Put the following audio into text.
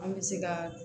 An bɛ se ka